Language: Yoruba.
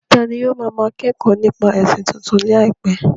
Tani ó máa máa kẹ́kọ̀ọ́ nípa ẹ̀sìn tuntun láìpẹ́?